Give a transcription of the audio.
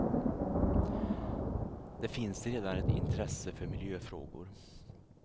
Det finns redan ett intresse för miljöfrågor.